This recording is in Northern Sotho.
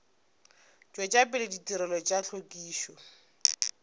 tšwetša pele ditirelo tša hlwekišo